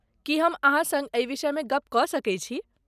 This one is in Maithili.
की हम अहाँ सङ्ग एहि विषयमे गप कऽ सकैत छी?